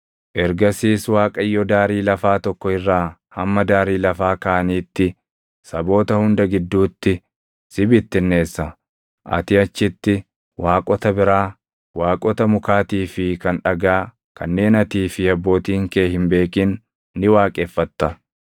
Ergasiis Waaqayyo daarii lafaa tokko irraa hamma daarii lafaa kaaniitti saboota hunda gidduutti si bittinneessa. Ati achitti waaqota biraa, waaqota mukaatii fi kan dhagaa kanneen atii fi abbootiin kee hin beekin ni waaqeffatta.